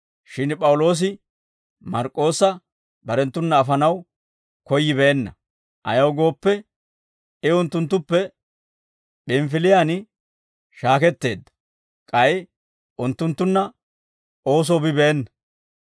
Shin P'awuloosi Mark'k'oossa barenttuna afanaw koyyibeenna; ayaw gooppe, I unttunttuppe P'inifiliyaan shaaketteedda; k'ay unttunttunna oosoo bibeena.